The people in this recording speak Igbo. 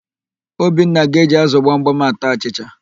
Obinna na-eji ázụ̀ gbamgbam ata achịcha.